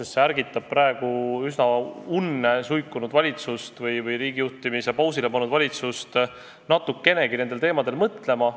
See ärgitab praegu üsna unne suikunud valitsust või riigi juhtimise pausile pannud valitsust natukenegi paljudel teemadel mõtlema.